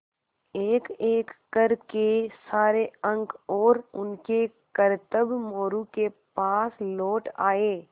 एकएक कर के सारे अंक और उनके करतब मोरू के पास लौट आये